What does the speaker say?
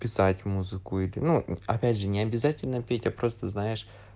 писать музыку или ну опять же необязательно петя просто знаешь